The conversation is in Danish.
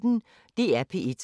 DR P1